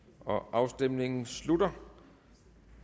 afstemningen slutter